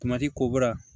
ko bɔra